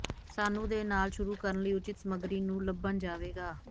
ਸਾਨੂੰ ਦੇ ਨਾਲ ਸ਼ੁਰੂ ਕਰਨ ਲਈ ਉੱਚਿਤ ਸਮੱਗਰੀ ਨੂੰ ਲੱਭਣ ਜਾਵੇਗਾ